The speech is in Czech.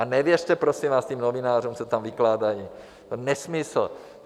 A nevěřte prosím vás těm novinářům, co tam vykládají, to je nesmysl.